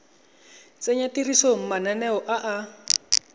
tsenya tirisong mananeo a a